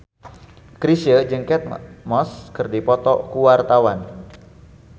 Chrisye jeung Kate Moss keur dipoto ku wartawan